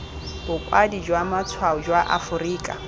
bokwadi jwa matshwao jwa aforika